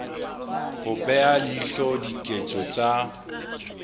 ho bea leihlo diketso tsa